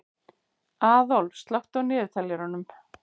Aðólf, slökktu á niðurteljaranum.